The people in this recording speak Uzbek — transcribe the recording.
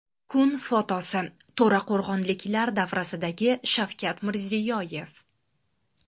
Kun fotosi: To‘raqo‘rg‘onliklar davrasidagi Shavkat Mirziyoyev .